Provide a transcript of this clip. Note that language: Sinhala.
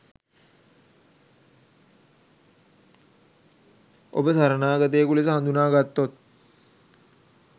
ඔබ සරණාගතයෙකු ලෙස හඳුනාගත්තොත්